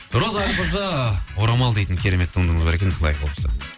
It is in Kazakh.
роза әлқожа орамал дейтін керемет туындыңыз бар екен